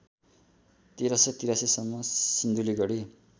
१३८३ सम्म सिन्धुलीगढी